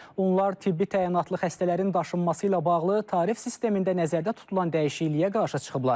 Onlar tibbi təyinatlı xəstələrin daşınması ilə bağlı tarif sistemində nəzərdə tutulan dəyişikliyə qarşı çıxıblar.